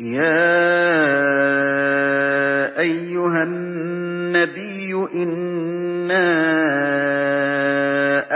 يَا أَيُّهَا النَّبِيُّ إِنَّا